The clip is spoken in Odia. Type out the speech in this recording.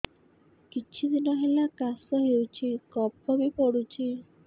କିଛି ଦିନହେଲା କାଶ ହେଉଛି କଫ ବି ପଡୁଛି